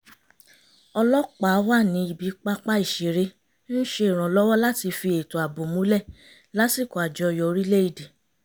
ọlọ́pàá wà ní ibi pápá ìṣeré ń ṣèrànwọ́ láti fi ètò ààbò múlẹ̀ lásìkò àjọyọ̀ orílẹ̀ èdè